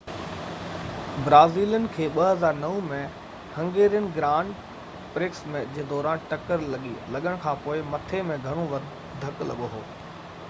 Brazilian کي 2009 ۾ Hungarian grand prix جي دوران ٽڪر لڳڻ کانپوءِ مٿي ۾ گهڻو ڌڪ لڳو هو